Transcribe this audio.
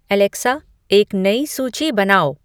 Alexa एक नई सूची बनाओ